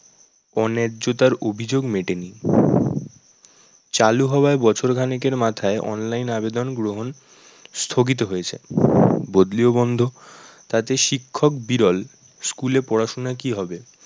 অন্যায্যতার অভিযোগ মেটেনি। চালু হওয়ার বছরখানেকের মাথায় online আবেদন গ্রহন স্থগিত হয়েছে। বদলিও বন্ধ, তাতে শিক্ষক বিরল school এ পড়াশোনা কি হবে?